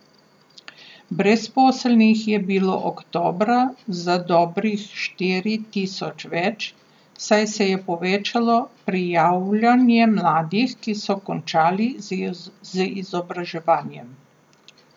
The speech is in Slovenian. Brezposelnih je bilo oktobra za dobrih štiri tisoč več, saj se je povečalo prijavljanje mladih, ki so končali z izobraževanjem.